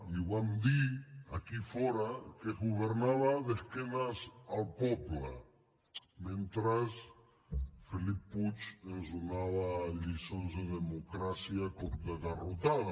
i ho vam dir aquí fora que es governava d’esquenes al poble mentre felip puig ens donava lliçons de democràcia a cop de garrotada